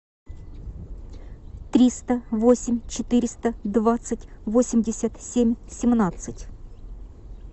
триста восемь четыреста двадцать восемьдесят семь семнадцать